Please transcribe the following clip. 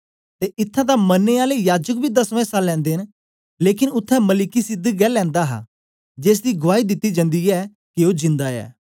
ते इत्थैं तां मरनें आले याजक बी दसमां इस्सा लैंदे न लेकन उत्थें मलिकिसिदक गै लैंदा ऐ जेसदी गुआई दिती जन्दी ऐ के ओ जिंदा ऐ